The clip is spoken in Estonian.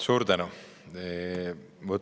Suur tänu!